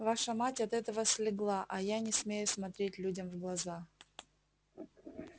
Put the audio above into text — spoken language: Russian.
ваша мать от этого слегла а я не смею смотреть людям в глаза